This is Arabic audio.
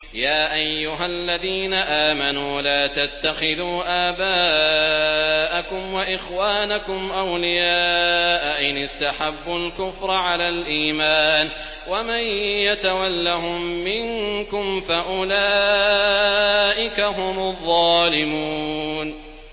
يَا أَيُّهَا الَّذِينَ آمَنُوا لَا تَتَّخِذُوا آبَاءَكُمْ وَإِخْوَانَكُمْ أَوْلِيَاءَ إِنِ اسْتَحَبُّوا الْكُفْرَ عَلَى الْإِيمَانِ ۚ وَمَن يَتَوَلَّهُم مِّنكُمْ فَأُولَٰئِكَ هُمُ الظَّالِمُونَ